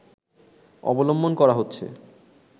অবলম্বন করা হচ্ছে